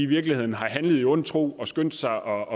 virkeligheden har handlet i ond tro og skyndt sig